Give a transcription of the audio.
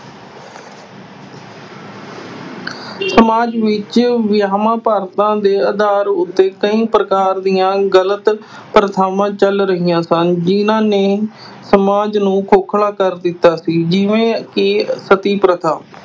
ਸਮਾਜ ਵਿੱਚ ਵਿਆਵਾਂ ਦੇ ਆਧਾਰ ਉੱਤੇ ਕਈ ਪ੍ਰਕਾਰ ਦੀਆਂ ਗਲਤ ਪ੍ਰਥਾਵਾਂ ਚਲ ਰਹੀਆਂ ਸਨ ਜਿਨ੍ਹਾਂ ਨੇ ਸਮਾਜ ਨੂੰ ਖੋਖਲਾ ਕਰ ਦਿੱਤਾ ਸੀ ਜਿਵੇਂ ਕਿ ਸਤੀ ਪ੍ਰਥਾ